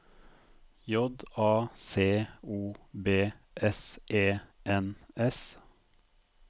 J A C O B S E N S